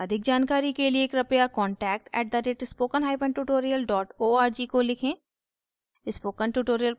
अधिक जानकारी के लिए कृपया contact @spokentutorial org को लिखें